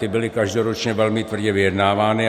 Ty byly každoročně velmi tvrdě vyjednávány.